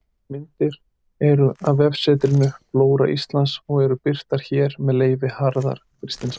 Myndirnar eru af vefsetrinu Flóra Íslands og eru birtar hér með leyfi Harðar Kristinssonar.